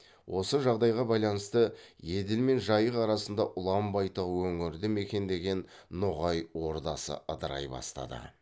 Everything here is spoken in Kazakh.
осы жағдайға байланысты еділ мен жайық арасында ұлан байтақ өңірді мекендеген ноғай ордасы ыдырай бастады